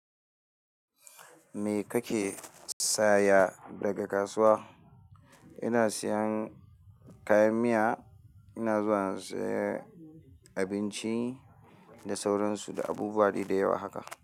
Me kake saya daga kasuwa? Ina siyan kayan miya, ina zuwa in saye abinci da sauransu da abubuwa dai da yawa haka.